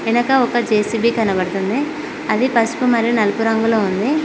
వెనుక ఒక జె_సీ_బి కనబడుతుంది అది పసుపు మరియు నలుపు రంగులో ఉంది.